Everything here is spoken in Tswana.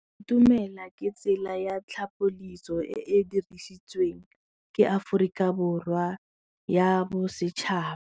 Go itumela ke tsela ya tlhapolisô e e dirisitsweng ke Aforika Borwa ya Bosetšhaba.